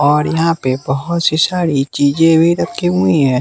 और यहाँ पे बहुत सी सारी चीजें भी रखी हुई हैं।